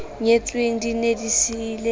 nyetsweng di ne di siile